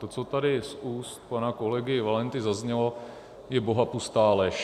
To, co tady z úst pana kolegy Valenty zaznělo, je bohapustá lež.